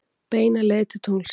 Beina leið til tunglsins.